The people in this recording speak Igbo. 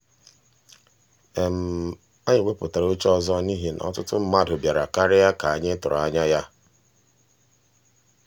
anyị wepụtara oche ọzọ n'ihi na ọtụtụ mmadụ bịara karịa ka anyị tụrụ anya ya.